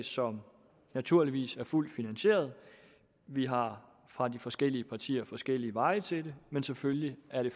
som naturligvis er fuldt finansieret vi har fra de forskellige partier forskellige veje til det men selvfølgelig er det